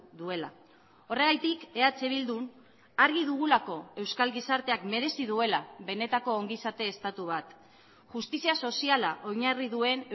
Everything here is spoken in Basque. duela horregatik eh bildun argi dugulako euskal gizarteak merezi duela benetako ongizate estatu bat justizia soziala oinarri duen